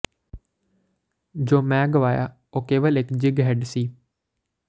ਜੋ ਮੈਂ ਗਵਾਇਆ ਉਹ ਕੇਵਲ ਇੱਕ ਜਿਗ ਹੈੱਡ ਸੀ